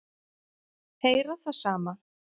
Heyra það sama.